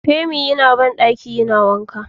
Femi yana bandaki yana wanka.